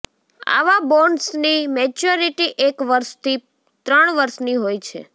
આવા બોન્ડ્સની મેચ્યોરિટી એક વર્ષથી ત્રણ વર્ષની હોય છે